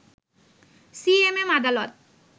CMM আদালত